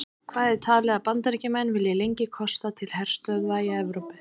Hvað er talið að Bandaríkjamenn vilji lengi kosta til herstöðva í Evrópu?